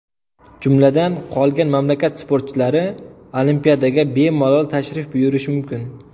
Jumladan, qolgan mamlakat sportchilari Olimpiadaga bemalol tashrif buyurishi mumkin.